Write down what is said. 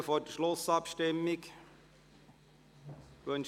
Gibt es vor der Schlussabstimmung Wortmeldungen?